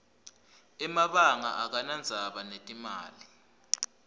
emabanga akanadzaba netimali